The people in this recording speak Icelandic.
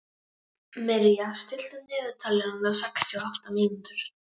Mirja, stilltu niðurteljara á sextíu og átta mínútur.